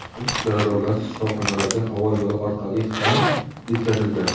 yaradorlar shifoxonalarga havo yo‘li orqali ham yetkazilgan.